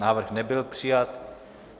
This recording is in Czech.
Návrh nebyl přijat.